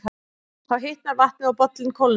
Þá hitnar vatnið og bollinn kólnar.